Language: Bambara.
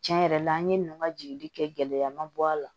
Tiɲɛ yɛrɛ la an ye ninnu ka jigili kɛ gɛlɛya ma bɔ a la